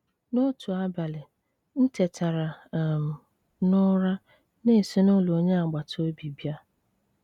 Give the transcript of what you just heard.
N’otu abalị, m tetara um n’ụra na-esi n’ụlọ onye agbata obi bịa.